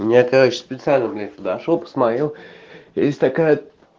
мне короче специально блять зашёл посмотрел есть такая